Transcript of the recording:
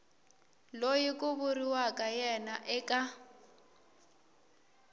loyi ku vuriwaka yena eka